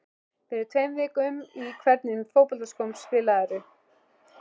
Fyrir tveim vikum Í hvernig fótboltaskóm spilarðu?